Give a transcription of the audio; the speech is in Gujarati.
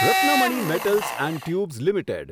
Ratnamani metals and tubes limited